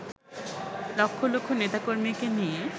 লক্ষ লক্ষ নেতাকর্মীকে নিয়ে